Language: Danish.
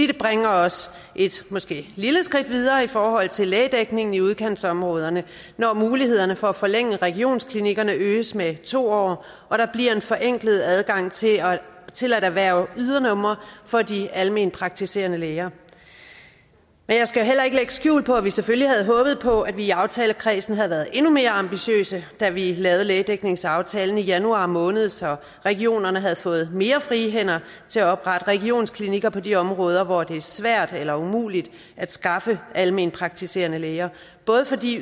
det bringer os et måske lille skridt videre i forhold til lægedækningen i udkantsområderne når mulighederne for at forlænge regionsklinikkerne øges med to år og der bliver en forenklet adgang til til at erhverve ydernumre for de almenpraktiserende læger jeg skal heller ikke lægge skjul på at vi selvfølgelig havde håbet på at vi i aftalekredsen havde været endnu mere ambitiøse da vi lavede lægedækningsaftalen i januar måned så regionerne havde fået mere frie hænder til at oprette regionsklinikker på de områder hvor det er svært eller umuligt at skaffe almenpraktiserende læger både fordi